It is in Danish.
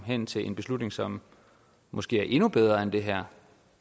hen til en beslutning som måske er endnu bedre end det her